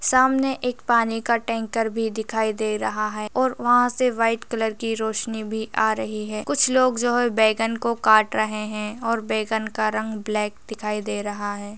सामने एक पानी का टैंकर भी दिखाई दे रहा है और वहाँ से व्हाइट कलर की रोशनी भी आ रही है कुछ लोग जो है बैंगन को काट रहे है और बैंगन का रंग ब्लैक दिखाई दे रहा है।